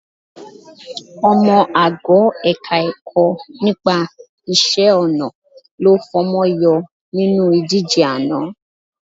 Ọmọ ago Ẹ̀ka-ẹ̀kọ́ nípa iṣẹ́-ọnà ló fọmọ yọ nínú ìdíje àná